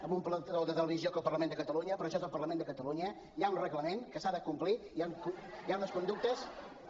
en un plató de televisió que al parlament de catalunya però això és el parlament de catalunya hi ha un reglament que s’ha de complir hi ha unes conductes a